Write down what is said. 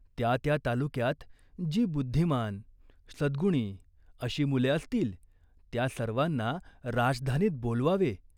त्या त्या तालुक्यात जी बुद्धिमान, सद्गुणी अशी मुले असतील, त्या सर्वांना राजधानीत बोलवावे.